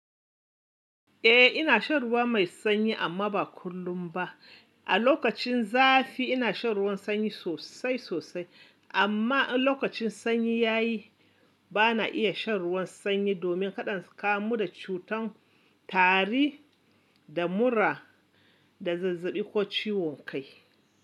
Eh ina shan ruwa mai sanyi amma ba kullum ba. A lokacin zafi ina shan ruwan sanyi sosai sosai amma in lokacin sanyi yayi bana iya shan ruwan sanyi domin kaɗan in kamu da cutan tari da mura da zazzaɓi ko ciwon kai.